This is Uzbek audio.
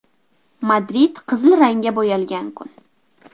Madrid qizil rangga bo‘yalgan kun.